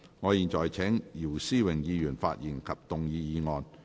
我現在請姚思榮議員發言及動議議案。